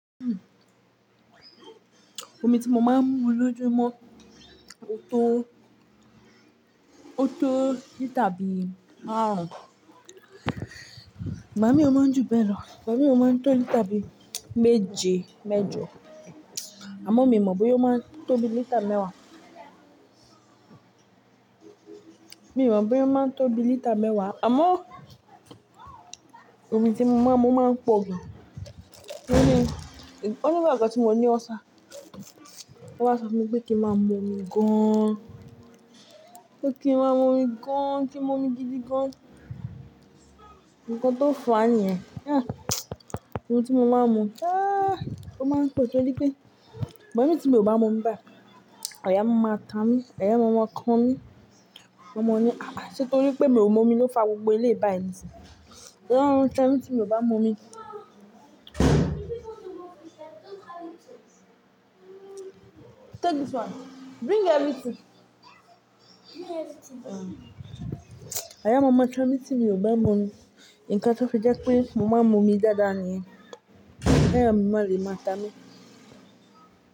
Omi tí mo máa ń mu lójoojúmọ́ ó tó, ó tó lítà bí i márùn-ún. Ígba mi o máa ń jù bẹ́ẹ̀ lọ. Ígba mi o máa ń tó lítà bí i méje, méjọ. Àmọ́ mi mọ̀ pé ó máa ń tó bí i lítà mẹ́wàá. Mi o mọ̀ pé ó máa ń tó bí i lítà mẹ́wàá. Àmọ́ omi tí mo máa ń mu máa ń pọ̀ gan. Nígbà kan tí mo ní ulcer, won wa so fun mi wí pé kí n máa mu omi gan, pé kí n máa mu omi gan, kí n mu omi gidi gan. Ǹkan tó fàá ni yẹ́n. Omi tí mo máa ń mu, ah, ó máa ń pọ̀ torí pé bẹ́ẹ̀ ni tí mi ò bá mu bá, ayà máa ma ta mí, ayà máa maa kàn mí. Maa ma ní, àh, torí pé mi ò mú omi ló fa gbogbo eléyìí bayii ni sí. Oun ta mi tí mi o bá mú omi? Ayà áma ma tami tí mi ò bá mú omi. Ikan ti ó fi jẹ́ pé mo máa ń mu omi dáadáa ni yẹ́n. Ki ayà mi máa le máa ta mí.